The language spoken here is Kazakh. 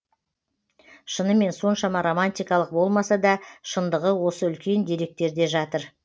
шынымен соншама романтикалық болмаса да шындығы осы үлкен деректерде жатыр